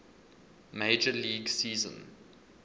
major league season